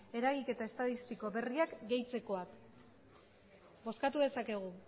eragiketa estatistiko berriak gehitzekoak bozkatu dezakegu